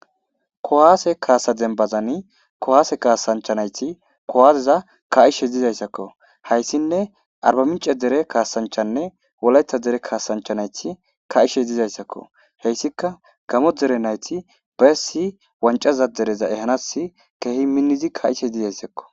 kuwaase kaasa dembazani kowaase kaasanchanayti kowaazeza ka7ishe dizayssakko hayssinne arbamince dere kaasanchanne woletha dere kaasanchanayti ka7ishe dizayssakko heyssika gamo dere nayti bayessi wancaza dereza ehanas keehi minnizi ka7ishe dizayssakko